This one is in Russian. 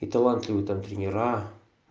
и талантливый там тренера